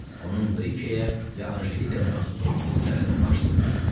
Onun Brikəyə ya Anjelikaya məxsus olduğu üzərində baş sındırırdı.